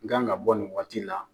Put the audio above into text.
N kan ka bɔ nin waati la.